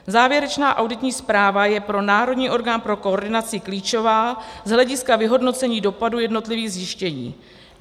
Závěrečná auditní zpráva je pro národní orgán pro koordinaci klíčová z hlediska vyhodnocení dopadu jednotlivých zjištění.